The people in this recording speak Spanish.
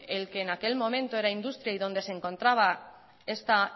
en el que en aquel momento era industria y donde se encontraba esta